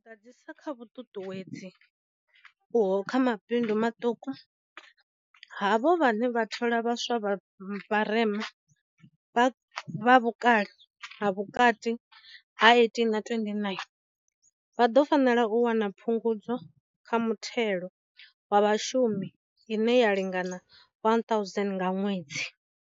U ḓadzisa kha vhuṱuṱuwedzi uho kha mabindu maṱuku, havho vhane vha thola vha swa vha vharema, vha vhukale ha vhukati ha 18 na 29, vha ḓo fanela u wana phungudzo kha muthelo wa vhashumi ine ya lingana R1 000 nga ṅwedzi.